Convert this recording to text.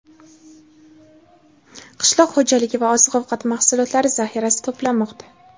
qishloq xo‘jaligi va oziq-ovqat mahsulotlari zaxirasi to‘planmoqda.